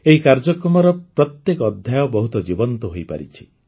ଏହି କାର୍ଯ୍ୟକ୍ରମର ପ୍ରତ୍ୟେକ ଅଧ୍ୟାୟ ବହୁତ ଜୀବନ୍ତ ହୋଇପାରିଛି